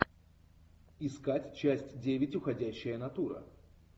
искать часть девять уходящая натура